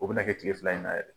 O bɛ na kɛ tile fila in n'a yɛrɛ